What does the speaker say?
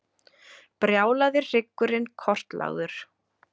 Brjálaði hryggurinn kortlagður